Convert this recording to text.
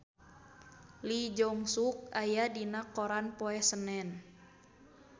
Lee Jeong Suk aya dina koran poe Senen